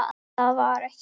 En það var ekki.